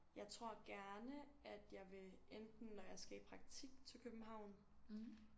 Jeg tror gerne at jeg vil enten når jeg skal i praktik til københavn